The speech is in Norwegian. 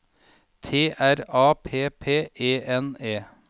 T R A P P E N E